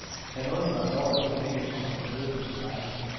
Han undrede sig over, at hunden ikke kom ham i møde, som den plejer.